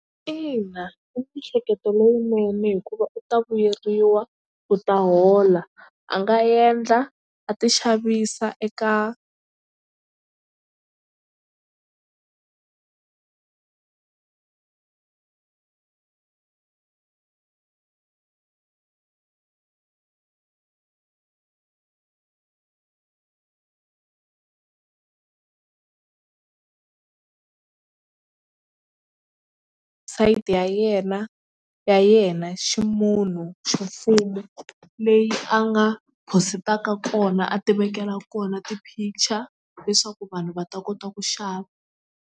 Ina i miehleketo lowunene hikuva u ta vuyeriwa u ta hola a nga endla a ti xavisa eka ya yena ya yena ximunhu xi mfumo leyi a nga positaka kona a tivekela kona ti-picture leswaku vanhu va ta kota ku xava.